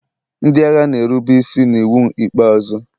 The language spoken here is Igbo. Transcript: ndị agha na-erube isi n'iwu ikpeazụ.